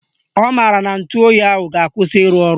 Ọ maara na ntụoyi ahụ ga-akwụsị ịrụ ọrụ